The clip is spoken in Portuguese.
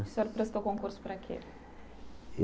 O senhor prestou concurso para o quê?